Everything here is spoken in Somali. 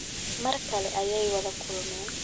Mar kale ayay wada kulmeen